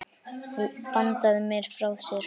Hann bandaði mér frá sér.